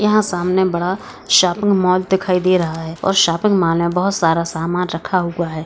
यहाँ सामने बड़ा शॉपिंग मॉल दिखाई दे रहा है और शॉपिंग मॉल में बहुत सारा समान रखा हुआ है।